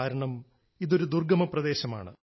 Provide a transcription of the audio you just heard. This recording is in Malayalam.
കാരണം ഇതൊരു ദുർഗമ പ്രദേശമാണ്